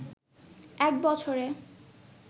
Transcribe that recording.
এক বছরে